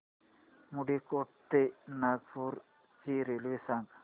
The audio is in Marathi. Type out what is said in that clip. मुंडीकोटा ते नागपूर ची रेल्वे सांगा